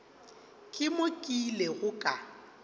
ke mo ke ilego ka